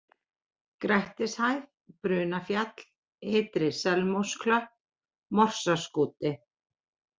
Grettishæð, Brunafjall, Ytri-Selmósklöpp, Morsaskúti